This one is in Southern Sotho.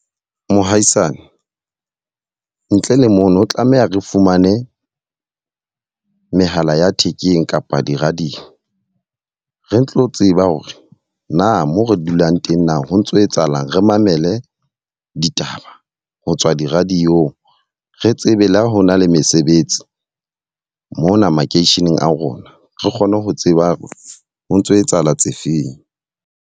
Mohaisane, ntle le mono tlameha re fumane mehala ya thekeng kapa di_radio. Re tlo tseba hore na moo re dulang teng na ho ntso etsahalang. Re mamele ditaba ho tswa di-radio-ng. Re tsebe le ha ho na le mesebetsi mona makeisheneng a rona. Re kgone ho tseba ho ntso etsahala tse feng.